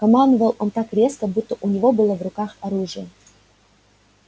командовал он так резко будто у него было в руках оружие